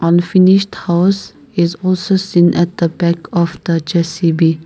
unfinished house is also seen at the back of the J_C_B.